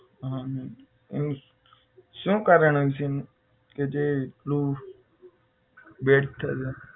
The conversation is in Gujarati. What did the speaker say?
હા હા એવું છે શું કારણ હશે કે જે એટલું bad કરે